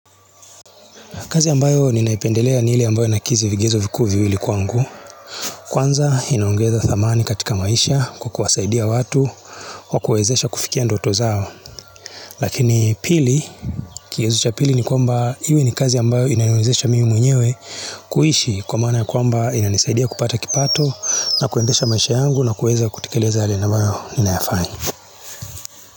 Kazi ambayo ninaipendelea ni ile ambayo inakidhi vigezo vikuu viwili kwangu. Kwanza inaongeza thamani katika maisha kwa kuwasaidia watu kwa kuwawezesha kufikia ndoto zao. Lakini pili, kigezo cha pili ni kwamba iwe ni kazi ambayo inaniwezesha mimi mwenyewe kuishi kwa maana ya kwamba inanisaidia kupata kipato na kuendesha maisha yangu na kuweza kutekeleza yale ambayo ninayafanya.